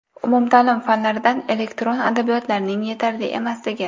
Umumta’lim fanlaridan elektron adabiyotlarning yetarli emasligi.